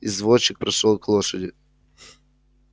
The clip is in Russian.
извозчик прошёл к лошади